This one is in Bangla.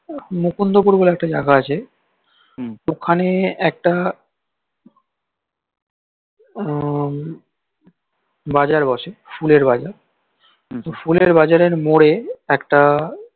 মুকুন্দপুর বলে একটা জাইগা আছে ওখানে একটা বাজার বসে ফুলের বাজার ত ফুলের বাজারের মরে একটা